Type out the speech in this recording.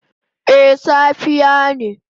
A safe ne